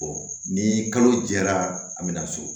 ni kalo jɛra a bɛna so